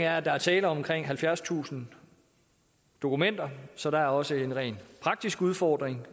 er at der er tale om omkring halvfjerdstusind dokumenter så der er også en rent praktisk udfordring